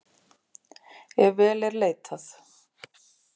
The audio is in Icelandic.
Ef vel er leitað.